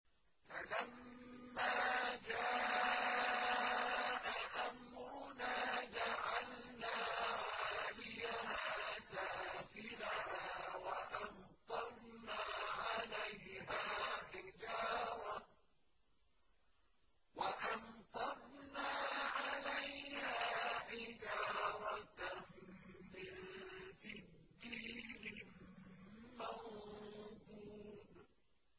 فَلَمَّا جَاءَ أَمْرُنَا جَعَلْنَا عَالِيَهَا سَافِلَهَا وَأَمْطَرْنَا عَلَيْهَا حِجَارَةً مِّن سِجِّيلٍ مَّنضُودٍ